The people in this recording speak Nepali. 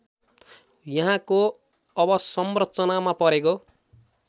यहाँको अवसंरचनामा परेको